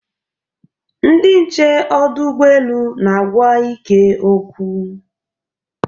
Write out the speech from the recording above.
Ndị nche ọdụ ụgbọelu na-agwa Ike okwu.